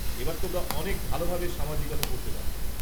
-এবার তোমরা অনেক ভালোভাবে সামাজিকতা করতে পারবে।